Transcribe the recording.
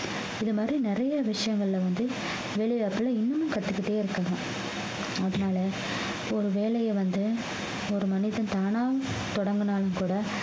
இது மாதிரி நிறைய விஷயங்கள்ல வந்து வேலைவாய்ப்புல இன்னமும் கத்துக்கிட்டே இருக்கணும் அதனால ஒரு வேலைய வந்து ஒரு மனிதன் தானா தொடங்குனாலும் கூட